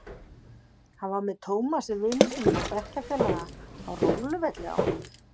Hann var með Tómasi vini sínum og bekkjarfélaga á róluvelli á